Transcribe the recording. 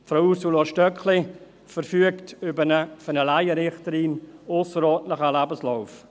Frau Ursula Stöckli verfügt über einen für eine Laienrichterin ausserordentlichen Lebenslauf.